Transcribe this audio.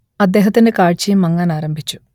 അദ്ദേഹത്തിന്റെ കാഴ്ചയും മങ്ങാനാരംഭിച്ചു